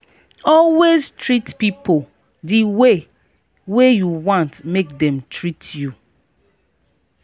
always treat pipo di way wey you want make dem treat you